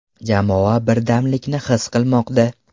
Jamoa birdamlikni his qilmoqda.